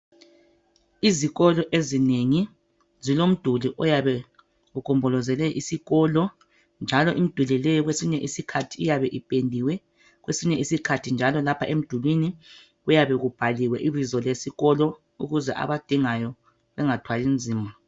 Izikolo ezinengi zilomduli oyabe ugombolozele isikolo njalo imiduli le kwesinye isikhathi iyabe ipendiwe kwesinye isikhathi njalo lapha emdulwini kuyabe kubhaliwe ibizo lesikolo ukuze abadingayo bengathwali nzima.